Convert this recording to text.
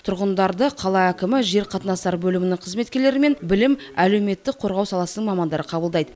тұрғындарды қала әкімі жер қатынастары бөлімінің қызметкерлері мен білім және әлеуметтік қорғау саласының мамандары қабылдайды